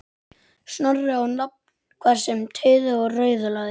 Snorra á nafn, hvað sem tautaði og raulaði.